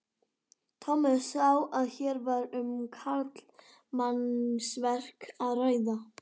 Tommi sá að hér var um karlmannsverk að ræða.